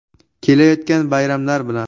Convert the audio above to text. Kelayotgan bayramlar bilan!